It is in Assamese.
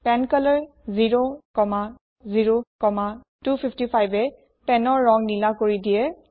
পেনকলৰ 00255এ penৰ ৰং নিলা কৰি দিয়ে